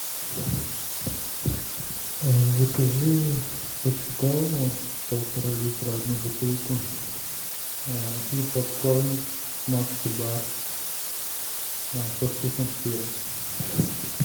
закажи пепси колу полтора литра одну бутылку и попкорн макси бар со вкусом сыра